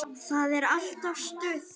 Það er alltaf stuð þar.